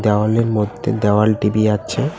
দেওয়ালের মধ্যে দেওয়াল টি_ভি আছে।